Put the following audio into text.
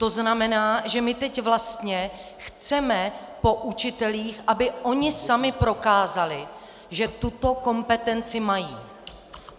To znamená, že my teď vlastně chceme po učitelích, aby oni sami prokázali, že tuto kompetenci mají.